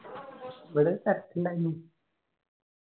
ഇവിടെ തരാക്കിന്ടയിനി